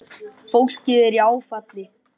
Fólkið er í áfalli.